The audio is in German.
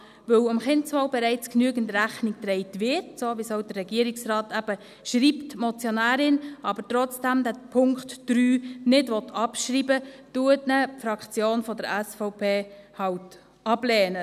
Weil dem Kindeswohl bereits genügend Rechnung getragen wird, so wie es eben auch der Regierungsrat schreibt, die Motionärin diesen Punkt 3 aber trotzdem nicht abschreiben will, lehnt ihn die Fraktion der SVP halt ab.